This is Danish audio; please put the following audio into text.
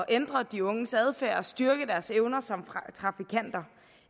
ændre de unges adfærd og styrke deres evner som trafikanter